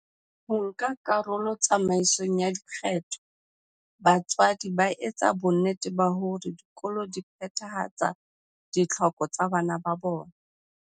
Ho nka karolo tsamaisong ya dikgetho, batswadi ba etsa bonnete ba hore dikolo di phethahatsa ditlhoko tsa bana ba bona.